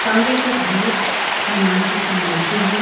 कमरे के अन्दर हनुमान जी की मूर्ति है।